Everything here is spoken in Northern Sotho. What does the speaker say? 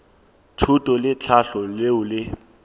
thuto le tlhahlo leo le